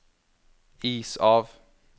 is av